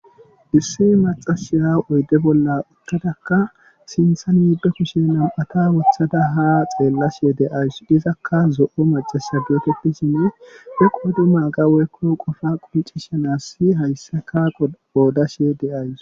issi macashiya oyde bolla uttadakka sinthan miiddo kushe nam7ata wothada ha xeellashe de'ayus dizakka zo7o macasha geeteti shinne he qodu ma ga weykko qofa quncishanassi hayssaka oodashe deayus